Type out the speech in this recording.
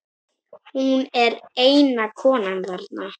Hún er eina konan þarna.